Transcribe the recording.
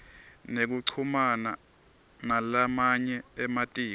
nekuchumana nalamanye ematiko